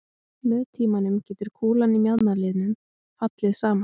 Með tímanum gæti kúlan í mjaðmarliðnum fallið saman.